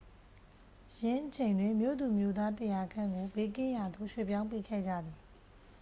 ယင်းအချိန်တွင် မြို့သူမြို့သား 100 ခန့်ကို ဘေးကင်းရာသို့ ရွှေ့ပြောင်းပေးခဲ့ကြသည်